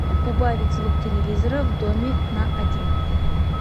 убавить звук телевизора в доме на один